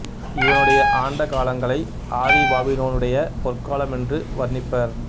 இவனுடைய ஆண்ட காலங்களை ஆதி பாபிலோனுடைய பொற்காலம் என்று வர்ணிப்பர்